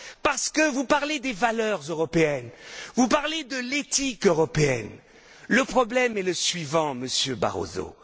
Parce que vous parlez des valeurs européennes, vous parlez de l'éthique européenne, mais le problème est le suivant, Monsieur Barroso.